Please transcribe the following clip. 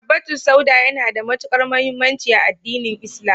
Habbatu sauda yana da matuƙar muhimmanci a addinin Islam.